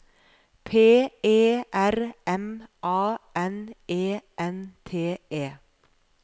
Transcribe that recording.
P E R M A N E N T E